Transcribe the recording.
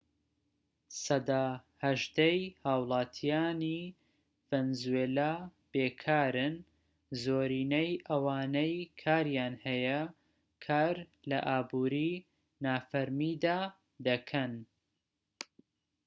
سەدا هەژدەی هاوڵاتیانی ڤەنزوێلا بێکارن زۆرینەی ئەوانەی کاریان هەیە کار لە ئابوری نافەرمیدا دەکەن